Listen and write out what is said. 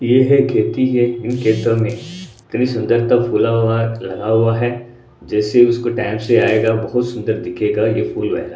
ये है खेती है इन खेतों मे इतनी सुंदरता फूला हुआ लगा हुआ है जैसी उसको टॅम से आयेगा बहोत सुंदर दिखेगा ये फूल लहरा--